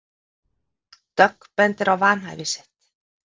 Dögg bendir á vanhæfi sitt